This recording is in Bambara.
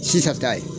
Sisan ta ye